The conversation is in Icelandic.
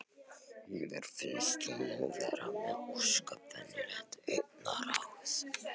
En mér finnst hún nú vera með ósköp venjulegt augnaráð.